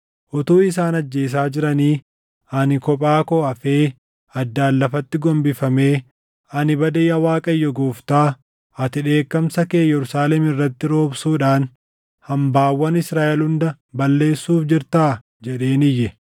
Utuu isaan ajjeesaa jiranii, ani kophaa koo hafee addaan lafatti gombifamee, “Ani bade yaa Waaqayyo Gooftaa! Ati dheekkamsa kee Yerusaalem irratti roobsuudhaan hambaawwan Israaʼel hunda balleessuuf jirtaa?” jedheen iyye.